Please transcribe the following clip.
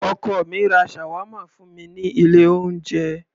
Ọkọ mi ra Shawarma fún mi ní ilé oúnjẹ.